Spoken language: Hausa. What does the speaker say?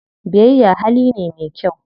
Biyayya hali ne me kyau.